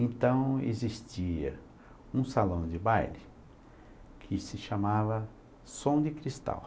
Então, existia um salão de baile que se chamava Som de Cristal.